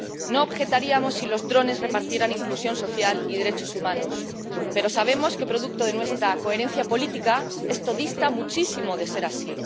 No objetaríamos si los drones repartieran inclusión social y derechos humanos, pero sabemos que —producto de nuestra coherencia política— esto dista muchísimo de ser así.